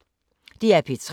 DR P3